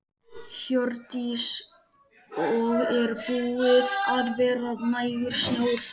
Hjördís: Og er búið að vera nægur snjór þar?